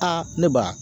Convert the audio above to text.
Aa ne ba